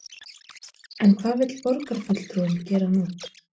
En hvað vill borgarfulltrúinn gera nú?